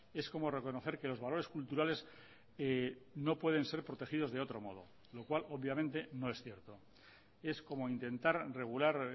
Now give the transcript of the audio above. es como reconocer que los valores culturales no pueden ser protegidos de otro modo lo cual obviamente no es cierto es como intentar regular